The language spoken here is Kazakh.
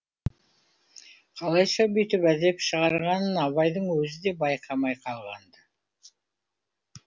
қалайша бүйтіп әдеп шығарғанын абайдың өзі де байқамай қалған ды